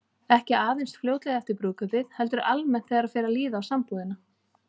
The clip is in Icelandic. Ekki aðeins fljótlega eftir brúðkaupið, heldur almennt þegar fer að líða á sambúðina.